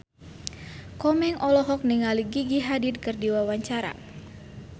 Komeng olohok ningali Gigi Hadid keur diwawancara